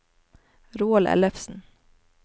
Roald Ellefsen